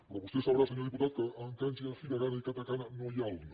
però vostè deu saber senyor diputat que en kanji en hiragana i katakana no hi ha el no